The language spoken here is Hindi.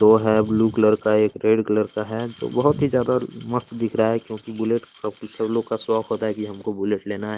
दो है ब्लू कलर का एक रेड कलर का है जो बहुत ही ज्यादा मस्त दिख रहा है क्योंकि बुलेट सब सब लोगों का शौक होता है कि हमको बुलेट लेना है।